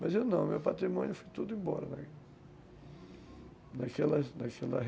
Mas eu não, meu patrimônio foi tudo embora naquela naquela